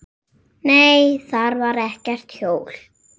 Nei, þar var ekkert hjól.